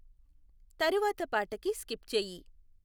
తరువాత పాటకి స్కిప్ చెయ్యి